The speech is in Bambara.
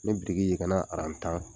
Ni biriki kana aran tan